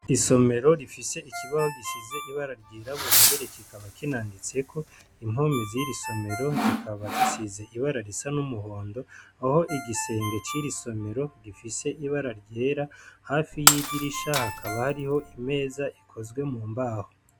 Isomero rifise ikibaho gisize ibara ryirabura mbere kikaba kinanditseko, impome ziri somero zikaba zisize ibara risa n'umuhondo aho igisenge ciri somero gifise ibara ryera, hafi y'idirisha hakaba hariho imeza ikozwe mu mbaho.